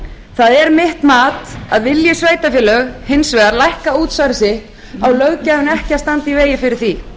það er mitt mat að vilji sveitarfélög hins vegar lækka útsvar sitt á löggjafinn ekki að standa í vegi fyrir því